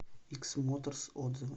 икс моторс отзывы